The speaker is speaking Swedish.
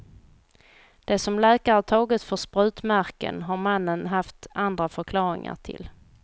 Det som läkare tagit för sprutmärken har mannen haft andra förklaringar till.